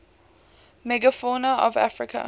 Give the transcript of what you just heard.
megafauna of africa